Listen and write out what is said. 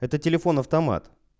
это телефон автомат